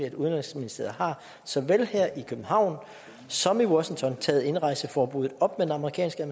at udenrigsministeriet såvel her i københavn som i washington har taget indrejseforbuddet op med den amerikanske